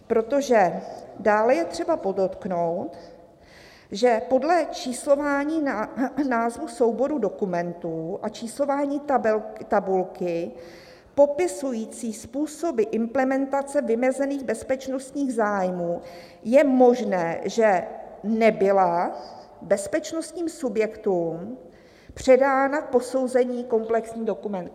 Protože: "Dále je třeba podotknout, že podle číslování názvu souboru dokumentů a číslování tabulky popisující způsoby implementace vymezených bezpečnostních zájmů je možné, že nebyla bezpečnostním subjektům předána k posouzení kompletní dokumentace."